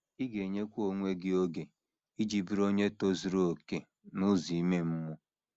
Ị ga - enyekwa onwe gị oge iji bụrụ onye tozuru okè n’ụzọ ime mmụọ.